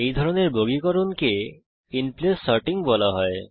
এই ধরনের বর্গীকরণকে ইনপ্লেস সর্টিং বলা হয়